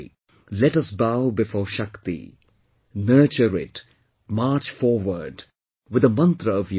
Let us bow before Shakti, nurture it, march forward with the mantra of unity